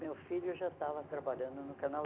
meu filho já estava trabalhando no Canal